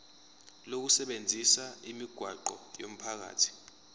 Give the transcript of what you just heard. lokusebenzisa imigwaqo yomphakathi